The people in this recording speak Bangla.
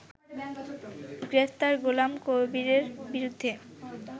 গ্রেপ্তার গোলাম কবিরের বিরুদ্ধে